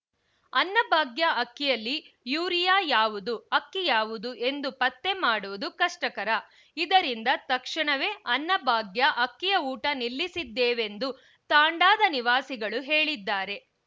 ಅನ್ನಭಾಗ್ಯ ಅಕ್ಕಿಯಲ್ಲಿ ಯೂರಿಯಾ ಯಾವುದು ಅಕ್ಕಿ ಯಾವುದು ಎಂದು ಪತ್ತೆ ಮಾಡುವುದು ಕಷ್ಟಕರ ಇದರಿಂದ ತಕ್ಷಣವೆ ಅನ್ನಭಾಗ್ಯ ಅಕ್ಕಿಯ ಊಟ ನಿಲ್ಲಿಸಿದ್ದೇವೆಂದು ತಾಂಡಾದ ನಿವಾಸಿಗಳು ಹೇಳಿದ್ದಾರೆ